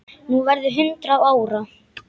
Þú verður hundrað ára.